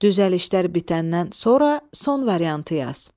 Düzəlişlər bitəndən sonra son variantı yaz.